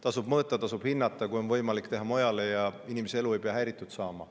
Tasub mõõta, tasub hinnata ja kui on võimalik, siis teha mujale, inimese elu ei pea häirima.